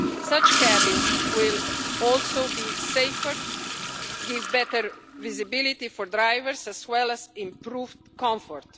Such cabins will also be safer, give better visibility to drivers, as well as improved comfort.